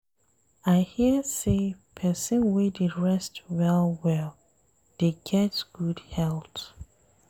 I hear sey pesin wey dey rest well-well dey get good health.